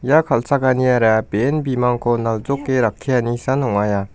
kal·chakaniara be·en bimangko naljoke rakkianisan ong·aia.